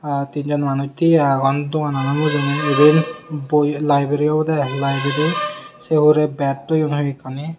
ah tinjon manuj tiye agon dogano mujungedi boi obowde aai boi librery se hurey bat toyon hoyekkani.